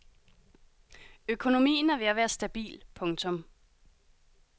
Økonomien er ved at være stabil. punktum